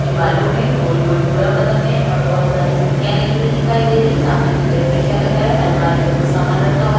के बालों में गोल-गोल जुड़ा बना हुआ है और बहुत सारी चिमटिया लगी हुई दिखाई दे रही है सामने की तरफ शीशा लगा हुआ है अलमारी में कुछ सामान रखा हुआ--